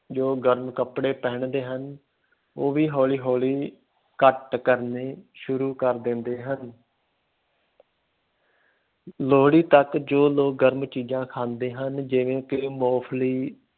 ਜੋ ਗਰਮ ਕੱਪੜੇ ਪਹਿਨਦੇ ਹਨ, ਉਹ ਵੀ ਹੌਲੀ ਹੌਲੀ ਘੱਟ ਕਰਨੇ ਸ਼ੁਰੂ ਕਰ ਦਿੰਦੇ ਹਨ ਲੋਹੜੀ ਤੱਕ ਜੋ ਲੋਕ ਗਰਮ ਚੀਜ਼ਾਂ ਖਾਂਦੇ ਹਨ, ਜਿਵੇਂ ਕਿ ਮੂੰਫਲੀ,